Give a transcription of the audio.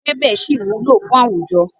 Ewébẹ̀ ṣì wúlò fún àwùjọ.